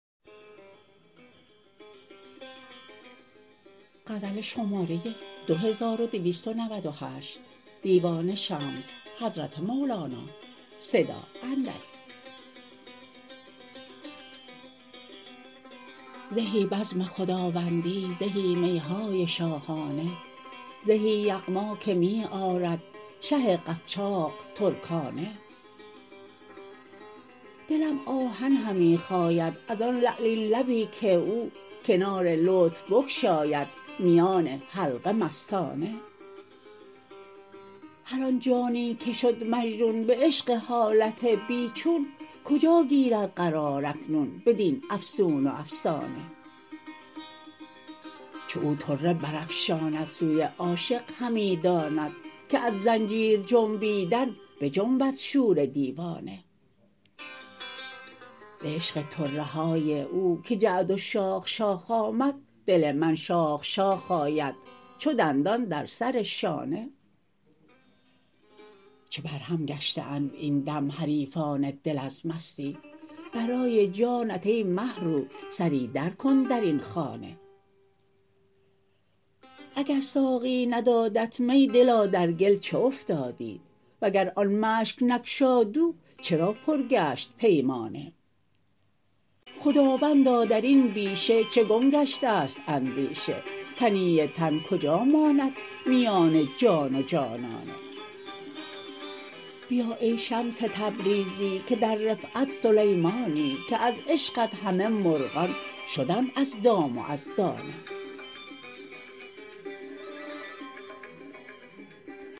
زهی بزم خداوندی زهی می های شاهانه زهی یغما که می آرد شه قفجاق ترکانه دلم آهن همی خاید از آن لعلین لبی که او کنار لطف بگشاید میان حلقه مستانه هر آن جانی که شد مجنون به عشق حالت بی چون کجا گیرد قرار اکنون بدین افسون و افسانه چو او طره برافشاند سوی عاشق همی داند که از زنجیر جنبیدن بجنبد شور دیوانه به عشق طره های او که جعد و شاخ شاخ آمد دل من شاخ شاخ آید چو دندان در سر شانه چه برهم گشته اند این دم حریفان دل از مستی برای جانت ای مه رو سری درکن در این خانه اگر ساقی ندادت می دلا در گل چه افتادی وگر آن مشک نگشاد او چرا پر گشت پیمانه خداوندا در این بیشه چه گم گشته ست اندیشه تنی تن کجا ماند میان جان و جانانه بیا ای شمس تبریزی که در رفعت سلیمانی که از عشقت همه مرغان شدند از دام و از دانه